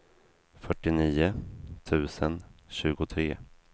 fyrtionio tusen tjugotre